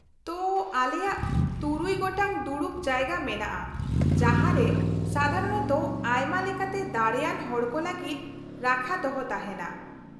ᱛᱳ, ᱟᱞᱮᱭᱟᱜ ᱛᱩᱨᱩᱭ ᱜᱚᱴᱟᱝ ᱫᱩᱲᱩᱵ ᱡᱟᱭᱜᱟ ᱢᱮᱱᱟᱜᱼᱟ ᱡᱟᱦᱟᱸ ᱨᱮ ᱥᱟᱫᱷᱟᱨᱚᱱᱚᱛᱚ ᱟᱭᱢᱟ ᱞᱮᱠᱟᱛᱮ ᱫᱟᱲᱮᱭᱟᱱ ᱦᱚᱲ ᱠᱚ ᱞᱟᱹᱜᱤᱫ ᱨᱟᱠᱷᱟ ᱫᱚᱦᱚ ᱛᱟᱦᱮᱱᱟ ᱾